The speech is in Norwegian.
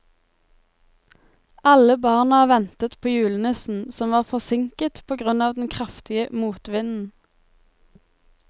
Alle barna ventet på julenissen, som var forsinket på grunn av den kraftige motvinden.